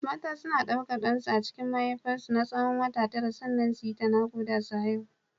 Mata suna ɗaukar ɗansu a cikin mahaifar su na tsawon wata tara sannan su yi ta naƙuda su haihu.